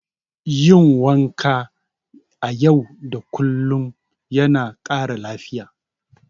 Yin wanka a yau da kullum yana ƙara lafiya.